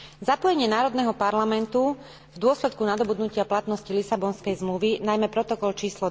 Zapojenie národného parlamentu v dôsledku nadobudnutia platnosti Lisabonskej zmluvy, najmä protokol č.